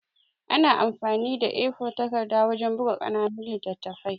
An amfani da A4 takarda wajan buka ƙananun littattafai